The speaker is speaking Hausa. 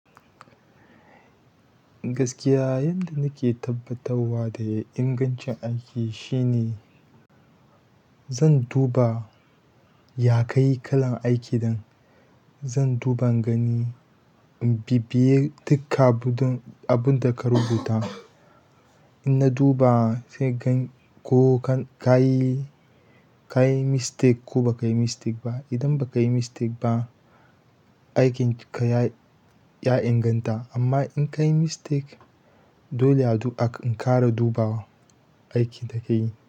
Gaskiya yanda nake tabbatawa da ingancin aiki shine zan duba ya ka yi kalan aiki dan zan duba in gani in bibiye duk abun da ka rubuta. In na duba sai gan ko ka yi mistake ko ba ka yi mistake ba. Idan ba ka yi mistake ba, aikinka ya inganta amma in ka yi mistake dole adu in ƙara dubawa aikin da ka yi.